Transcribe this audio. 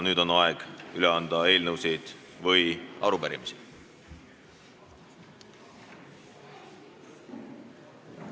Nüüd on aeg üle anda eelnõusid või arupärimisi.